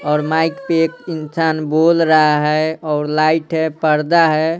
और माइक पे एक इंसान बोल रहा हैऔर लाइट है पर्दा है।